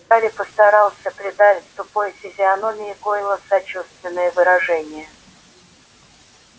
гарри постарался придать тупой физиономии гойла сочувственное выражение